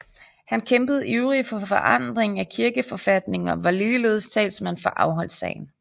Han kæmpede ivrig for forandring af kirkeforfatningen og var ligeledes talsmand for afholdssagen